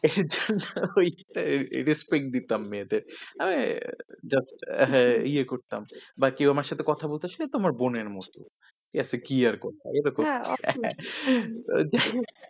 respect দিতাম মেয়েদের। আহ ইয়ে করতাম বাকি আমার সাথে কেউ কথা বলতে আসলে আমার বোনের মতো। তাতে কি আর করতে হবে, এই তো করতে হবে